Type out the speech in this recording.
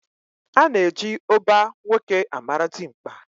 Ana eji oba nwoke amara dimkpa.